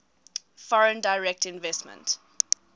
foreign direct investment